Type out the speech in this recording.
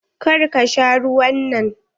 Kar ka sha ruwan nan.